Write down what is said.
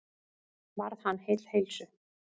Varð hann heill heilsu.